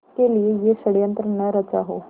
के लिए यह षड़यंत्र न रचा हो